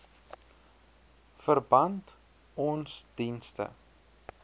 verband ons dienste